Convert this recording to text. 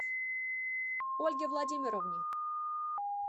ольге владимировне